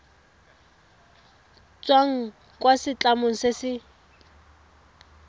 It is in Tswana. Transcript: tswang kwa setlamong se se